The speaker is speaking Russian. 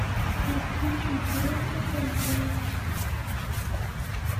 включи интересный контент